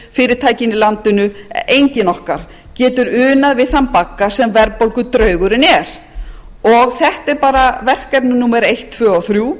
í landinu enginn okkar getur unað við þann bagga sem verðbólgudraugurinn er þetta er bara verkefni númer eitt tvö og þrjú